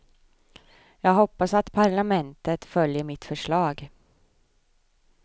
Jag hoppas att parlamentet följer mitt förslag.